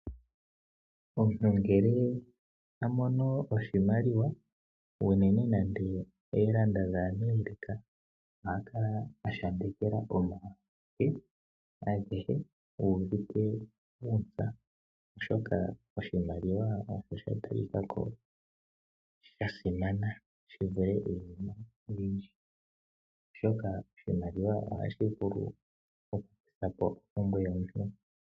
Omuntu ngele a mono oshimaliwa unene nande oodola dhaAmerica oha kala a shambekela omake agehe uuvite uuntsa, oshoka oshimaliwa osha simana shi vule iinima oyindji. Oshimaliwa ohashi vulu okukutha po ompumbwe yomuntu.